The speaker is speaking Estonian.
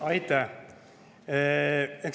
Aitäh!